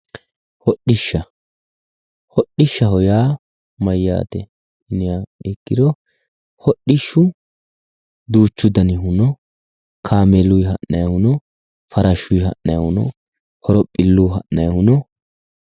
Hodishsha, hodhishshaho yaa mayate yinniha ikkiro ,hodhishshu duuchu dannihu no, kaameelu ha'nannihu, farashu ha'nannihu no, horophilu ha'nannihu no